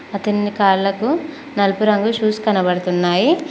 అతనిని కాళ్లకు నలుపు రంగు షూస్ కనబడుతున్నాయి